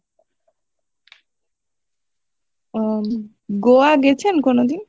উম গোয়া গেছেন কোনোদিন।